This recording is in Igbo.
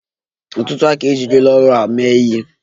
Ọtụtụ aka ejirila ọrụ a mee ihe.